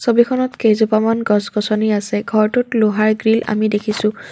ছবিখনত কেইজোপামান গছ-গছনি আছে ঘৰটোত লোহাৰ গ্ৰিল আমি দেখিছোঁ।